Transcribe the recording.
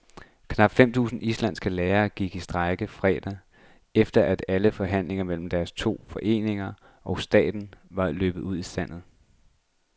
Knap fem tusind islandske lærere gik i strejke fredag, efter at alle forhandlinger mellem deres to foreninger og staten var løbet ud i sandet.